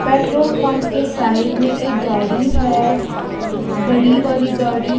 Petrol pump के side में एक गाड़ी है बड़ी वाली गाड़ी।